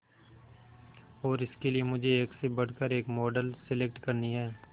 और इसके लिए मुझे एक से बढ़कर एक मॉडल सेलेक्ट करनी है